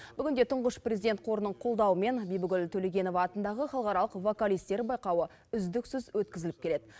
бүгінде тұңғыш президент қорының қолдауымен бибігүл төлегенова атындағы халықаралық вокалистер байқауы үздіксіз өткізіліп келеді